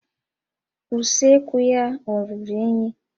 Usekwu ya ọ ruru unyi?